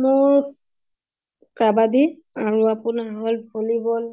মোৰ কাবাডী আৰু আপোনাৰ হল volleyball